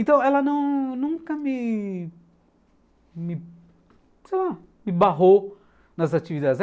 Então ela nunca me, sei lá, me barrou nas atividades.